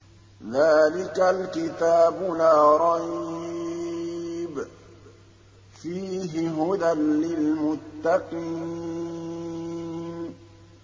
ذَٰلِكَ الْكِتَابُ لَا رَيْبَ ۛ فِيهِ ۛ هُدًى لِّلْمُتَّقِينَ